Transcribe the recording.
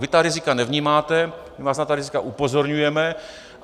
Vy ta rizika nevnímáte, my vás na ta rizika upozorňujeme.